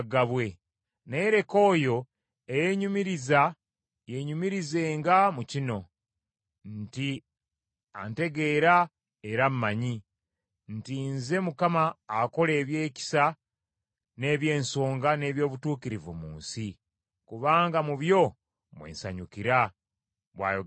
Naye leka oyo eyeenyumiriza yeenyumirizenga mu kino: nti antegeera era ammanyi, nti nze Mukama akola ebyekisa n’eby’ensonga n’eby’obutuukirivu mu nsi, kubanga mu byo mwe nsanyukira,” bw’ayogera Mukama .